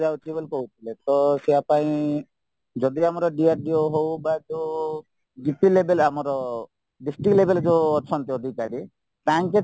ବୋଲି କହୁଥିଲେତ ପାଇଁ ଯଦି ଆମର DRDO ହଉ ବା ଯୋଉ level ଆମର district level ଯୋଉ ଅଛନ୍ତି ଅଧିକାରୀ ତାଙ୍କେ